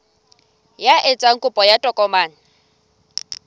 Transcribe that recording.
ya etsang kopo ya tokomane